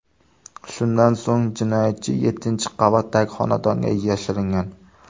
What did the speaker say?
Shundan so‘ng jinoyatchi yettinchi qavatdagi xonadonga yashiringan.